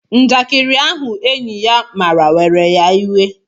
Njakiri ahụ enyị ya mara were ya iwe